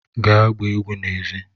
Gaa gbaa egwu n'èzí!